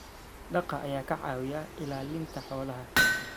daaqa ayaa ka caawiya ilaalinta xoolaha.